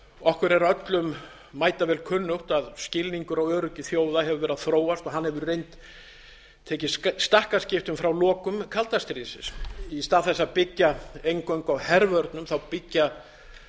okkur er öllum mætavel kunnugt að skilningur á öryggi þjóða hefur verið að þróast hann hefur tekið stakkaskiptum frá lokum kalda stríðsins í stað þess að byggja eingöngu á hervörnum byggja